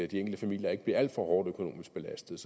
de enkelte familier ikke bliver alt for hårdt belastet